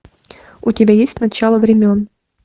у тебя есть начало времен